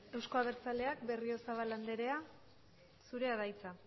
euzko abertzaleak berriozabal andrea zurea da hitza